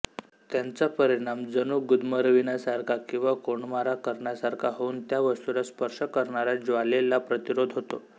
त्यांचा परिणाम जणू गुदमरविण्यासारखा किंवा कोंडमारा करण्यासारखा होऊन त्या वस्तूला स्पर्श करणाऱ्या ज्वालेला प्रतिरोध होतो